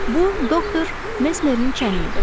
Bu, doktor Mesmerin çəni idi.